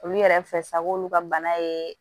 Olu yɛrɛ fɛ sa k'olu ka bana ye